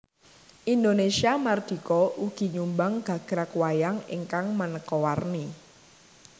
Indonésia mardika ugi nyumbang gagrag wayang ingkang manéka warni